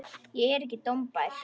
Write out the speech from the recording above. Ég er ekki dómbær.